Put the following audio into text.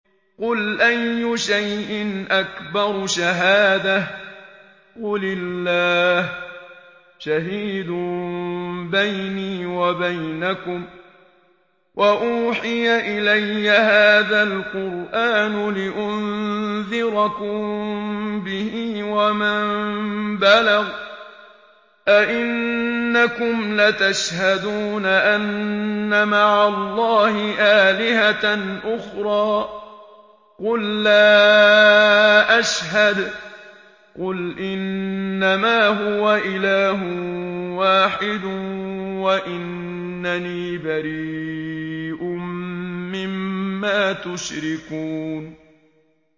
قُلْ أَيُّ شَيْءٍ أَكْبَرُ شَهَادَةً ۖ قُلِ اللَّهُ ۖ شَهِيدٌ بَيْنِي وَبَيْنَكُمْ ۚ وَأُوحِيَ إِلَيَّ هَٰذَا الْقُرْآنُ لِأُنذِرَكُم بِهِ وَمَن بَلَغَ ۚ أَئِنَّكُمْ لَتَشْهَدُونَ أَنَّ مَعَ اللَّهِ آلِهَةً أُخْرَىٰ ۚ قُل لَّا أَشْهَدُ ۚ قُلْ إِنَّمَا هُوَ إِلَٰهٌ وَاحِدٌ وَإِنَّنِي بَرِيءٌ مِّمَّا تُشْرِكُونَ